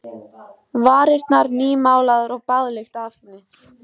Varirnar nýmálaðar og baðlykt af henni.